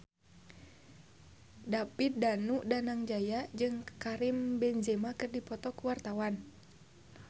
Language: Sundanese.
David Danu Danangjaya jeung Karim Benzema keur dipoto ku wartawan